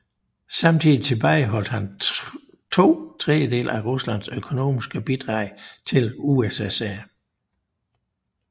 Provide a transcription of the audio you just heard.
Samtidig tilbageholdt han to tredjedele af Ruslands økonomiske bidrag til USSR